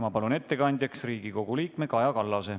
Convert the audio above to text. Ma palun ettekandjaks Riigikogu liikme Kaja Kallase.